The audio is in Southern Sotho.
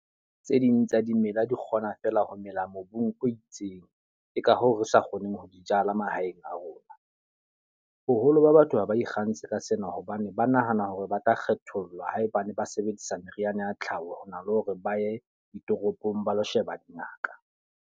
Tse ding tsa dimela di kgona fela ho mela mobung o itseng. Ke ka hoo re sa kgoneng ho di jala mahaeng a rona. Boholo ba batho ha ba ikgantshe ka sena hobane ba nahana hore ba tla kgethollwa haebane ba sebedisa meriana ya tlhaho, ho na le hore ba ye ditoropong ba lo sheba dingaka.